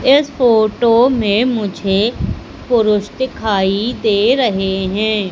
इस फोटो में मुझे पुरुष दिखाई दे रहे हैं।